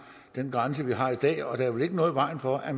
den grænse vi har i dag og der er vel ikke noget i vejen for at